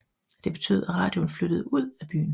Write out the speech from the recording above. Det betød at radioen flyttede ud af byen